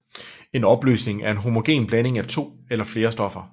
En opløsning er en homogen blanding af to eller flere stoffer